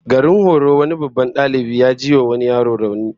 Garin horo wani babban dalibi ya jiwa wani yaro rauni